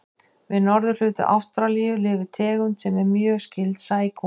Við norðurhluta Ástralíu lifir tegund sem er mjög skyld sækúm.